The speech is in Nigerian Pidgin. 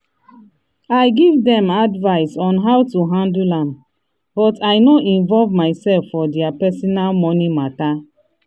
i give dem advice on how to handle am but i no involve myself for dia personal money matter.